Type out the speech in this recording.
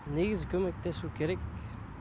негізі көмектесу керек